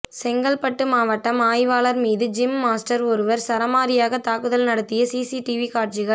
செங்கல்பட்டு மாவட்டம் ஆய்வாளர் மீது ஜிம் மாஸ்டர் ஒருவர் சரமாரியாக தாக்குதல் நடத்திய சிசிடிவி காட்சிகள்